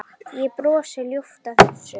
Ég brosi ljúft að þessu.